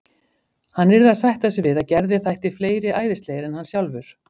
Hann yrði að sætta sig við að Gerði þætti fleiri æðislegir en hann sjálfur.